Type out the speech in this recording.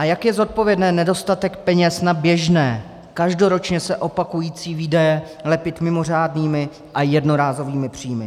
A jak je zodpovědné nedostatek peněz na běžné, každoročně se opakující výdaje lepit mimořádnými a jednorázovými příjmy?